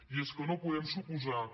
i és que no podem suposar que